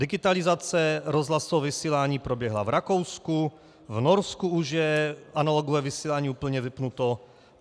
Digitalizace rozhlasového vysílání proběhla v Rakousku, v Norsku už je analogové vysílání úplně vypnuto.